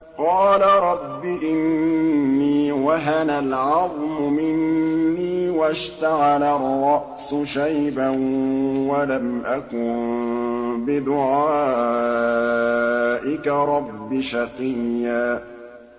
قَالَ رَبِّ إِنِّي وَهَنَ الْعَظْمُ مِنِّي وَاشْتَعَلَ الرَّأْسُ شَيْبًا وَلَمْ أَكُن بِدُعَائِكَ رَبِّ شَقِيًّا